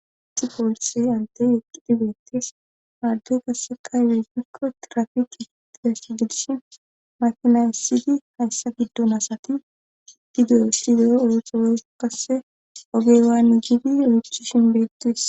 Isi poolise ante eqqidi beettes maaddoy kasseka yweggikko trafiki gitidass gidish makina issidi hayssa giddon asati ididuyessi deero orotore kasse ogeywaan gidi oychishin beettis.